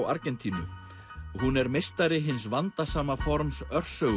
Argentínu og hún er meistari hins vandasama forms